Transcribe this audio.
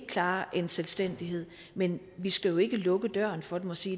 klare en selvstændighed men vi skal jo ikke lukke døren for dem og sige